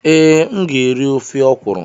Ee, m ga-eri ofe ọkwuru.